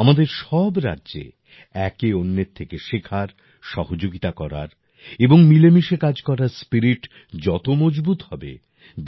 আমাদের সব রাজ্যে একে অন্যের থেকে শেখার সহযোগিতা করার এবং মিলেমিশে কাজ করার স্পিরিট যত মজবুত হবে